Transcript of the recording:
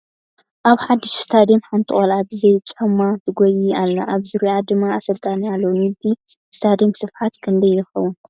ኣብ ሓዱሽ ስታድየም ሓንቲ ቆልዕ ብዘይጫማ ትጎይይ ኣላ ኣብ ዙርይአ ድማ ኣሰልጣኒኣ ኣሎ ። ንይቲ ስታድየም ስፍሓት ክንደይ ይከውን ?